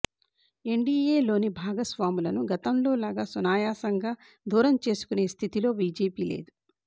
ఎన్డీయేలోని భాగస్వాములను గతంలోలాగా సునాయాసంగా దూరం చేసుకునే స్థితిలో బీజేపీ లేదు